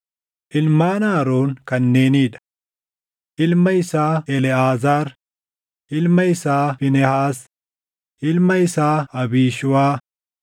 Ilmaan Aroon kanneenii dha: Ilma isaa Eleʼaazaar, ilma isaa Fiinehaas, ilma isaa Abiishuuwaa,